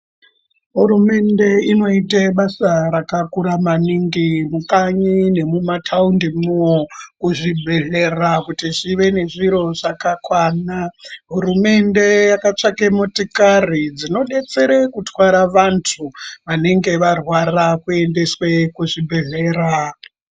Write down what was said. Hurumende inoite basa rakakura maningi mukanyi nemumathaundimwo, kuzvibhedhlera kuti kuve nezviro zvakakwana. Hurumende yakatsvake motikari, dzinodetsere kutwara vantu, vanenge varwara kuendeswe kuzvibhedhlera.